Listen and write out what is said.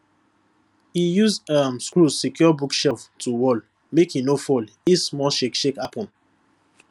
e use um screw secure bookshelf to wall make e no fall if small shakeyshakey happen